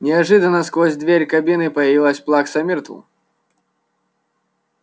неожиданно сквозь дверь кабины появилась плакса миртл